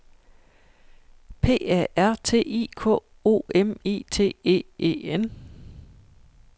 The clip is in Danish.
P A R T I K O M I T é E N